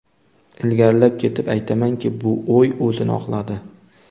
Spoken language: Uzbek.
Ilgarilab ketib aytamanki, bu o‘y o‘zini oqladi.